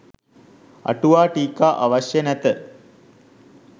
අටුවා ටීකා අවශ්‍ය නැත